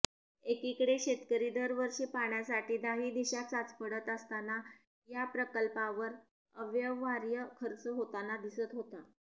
एकीकडे शेतकरी दरवर्षी पाण्यासाठी दाही दिशा चाचपडत असताना या प्रकल्पांवर अव्यवहार्य खर्च होतांना दिसत होता